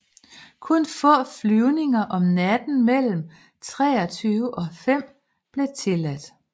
Kun få flyvninger om natten mellem 23 og 5 blev tilladt